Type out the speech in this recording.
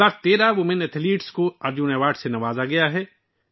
اس بار 13 خواتین ایتھلیٹس کو ارجن ایوارڈ سے نوازا گیا ہے